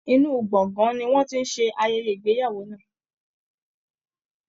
Inú gbọ̀ngàn ni wọ́n ti ń ṣe ayẹyẹ ìgbéyàwó náà